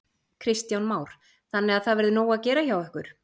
Kristján Már: Þannig að það verður nóg að gera hjá ykkur?